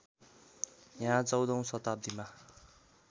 यहाँ १४औं शताब्दीमा